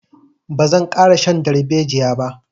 Ba zan ƙara shan darbejiya ba.